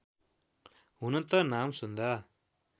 हुन त नाम सुन्दा